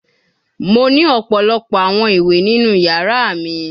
Mo ni ọpọlọpọ awọn iwe ninu yara mi